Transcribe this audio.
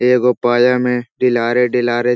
एगो पाया में डीलारे डीलारे --